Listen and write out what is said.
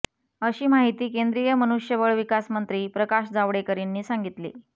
अशी माहिती केंद्रीय मनुष्यबळविकास मंत्री प्रकाश जावडेकर यांनी सांगितले